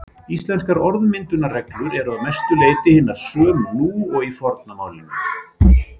Íslenskar orðmyndunarreglur eru að mestu leyti hinar sömu nú og í forna málinu.